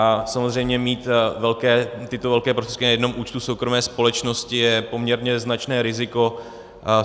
A samozřejmě mít tyto velké prostředky na jednom účtu soukromé společnosti je poměrně značné riziko.